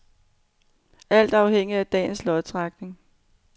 Alt afhænger af dagens lodtrækning.